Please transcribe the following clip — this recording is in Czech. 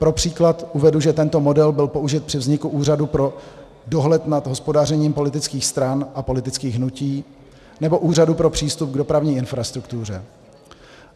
Pro příklad uvedu, že tento model byl použit při vzniku Úřadu pro dohled nad hospodařením politických stran a politických hnutí nebo Úřadu pro přístup k dopravní infrastruktuře.